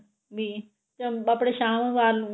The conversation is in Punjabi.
ਵੀ ਚੱਲ ਆਪਣੇ ਸ਼ਾਮ ਨੂੰ